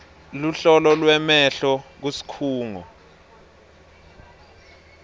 luhlolo lwemehlo kusikhungo